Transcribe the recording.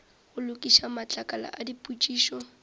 go lokiša matlakala a dipotšišo